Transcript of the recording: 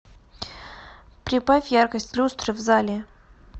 прибавь яркость люстры в зале